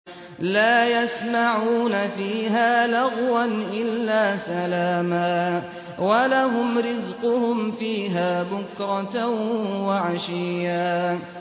لَّا يَسْمَعُونَ فِيهَا لَغْوًا إِلَّا سَلَامًا ۖ وَلَهُمْ رِزْقُهُمْ فِيهَا بُكْرَةً وَعَشِيًّا